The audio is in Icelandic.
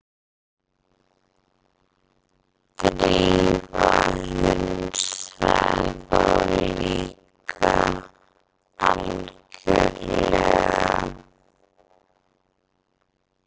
Drífa hunsaði þá líka algjörlega.